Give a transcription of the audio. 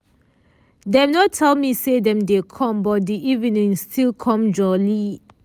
dem nor tell me say dem dey come but di evening still com jolly.